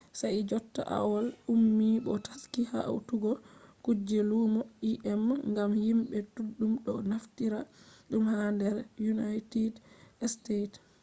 sai jotta aol ummi bo taski hautugo kuje lumo im gam himɓe ɗuɗɗum ɗo naftira ɗum ha nder unaited stets